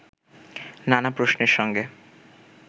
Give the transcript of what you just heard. নানা প্রশ্নের সঙ্গে